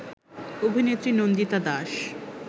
অভিনেত্রী নন্দিতা দাস